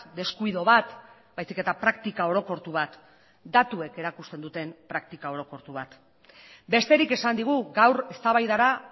deskuido bat baizik eta praktika orokortu bat datuek erakusten duten praktika orokortu bat besterik esan digu gaur eztabaidara